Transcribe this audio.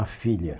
A filha.